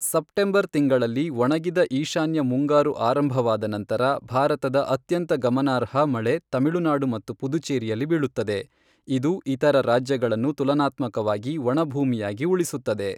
September ತಿಂಗಳಲ್ಲಿ ಒಣಗಿದ ಈಶಾನ್ಯ ಮುಂಗಾರು ಆರಂಭವಾದ ನಂತರ ಭಾರತದ ಅತ್ಯಂತ ಗಮನಾರ್ಹ ಮಳೆ ತಮಿಳುನಾಡು ಮತ್ತು ಪುದುಚೇರಿಯಲ್ಲಿ ಬೀಳುತ್ತದೆ, ಇದು ಇತರ ರಾಜ್ಯಗಳನ್ನು ತುಲನಾತ್ಮಕವಾಗಿ ಒಣಭೂಮಿಯಾಗಿ ಉಳಿಸುತ್ತದೆ.